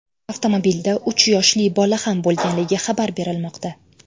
Avtomobilda uch yoshli bola ham bo‘lganligi xabar berilmoqda.